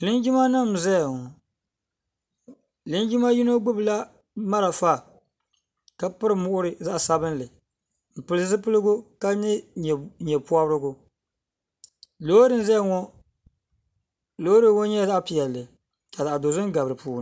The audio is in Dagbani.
linjima nim ʒɛya ŋɔ linjima yino gbabila mariƒɔ ka pɛri moɣiri zaɣ' sabinli o pɛli zupiligu ka yɛ nyɛpobirigu lori n ʒɛya ŋɔ lori ŋɔ nyɛla zaɣ' piɛli ka zaɣ' dozim gari dipuuni